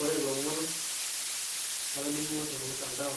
ore ilomon latolimwo tormutandao